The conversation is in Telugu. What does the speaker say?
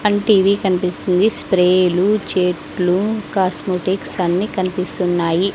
అండ్ టీ_వీ కనిపిస్తుంది స్ప్రేలు చెట్లు కాస్మోటిక్స్ అన్నీ కనిపిస్తున్నాయి.